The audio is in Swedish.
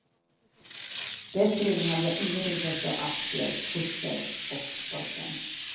Dessförinnan hade jag inget intresse av aktier, kurser och börsen.